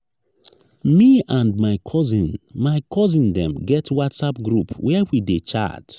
me and my cousin my cousin dem get whatsapp group where we dey chat